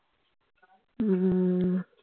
উম